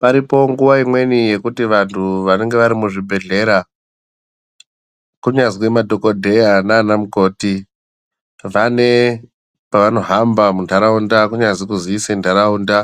Paripo nguwa imweni yekuti vantu vanenge vari muzvibhedhlera, kunyazi madhokodheya naanamukoti, vane pavanohamba muntaraunda kunyazi kuziise ntaraunda,